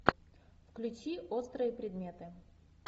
включи острые предметы